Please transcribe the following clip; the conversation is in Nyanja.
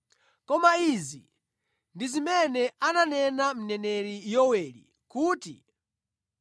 Koma izi ndi zimene ananena Mneneri Yoweli kuti: